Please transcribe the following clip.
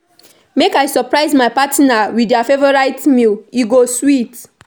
Make I surprise my partner with dia favorite meal today, e go sweet.